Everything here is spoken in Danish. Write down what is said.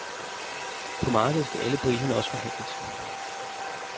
På markedet skal alle priserne også forhandles.